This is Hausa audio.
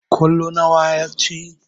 Ƙwallo nawa ya ci?